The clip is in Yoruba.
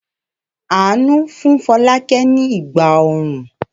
Àánú fún Fọlákẹ́ ni Ẹ̀gbá-ọrùn.